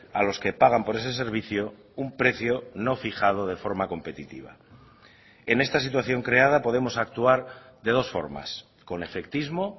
a los que pagan por ese servicio un precio no fijado de forma competitiva en esta situación creada podemos actuar de dos formas con efectismo